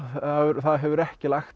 það hefur ekki lagt